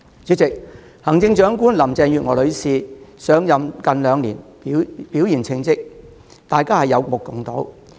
主席，行政長官林鄭月娥女士上任近兩年，表現稱職，大家有目共睹。